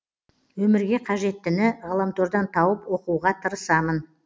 өмірге қажеттіні ғаламтордан тауып оқуға тырысамын